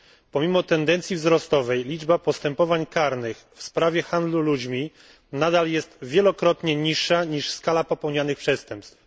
Pomimo tendencji wzrostowej liczba postępowań karnych w sprawie handlu ludźmi nadal jest wielokrotnie niższa, niż skala popełnianych przestępstw.